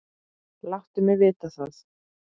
Láttu mig vita það.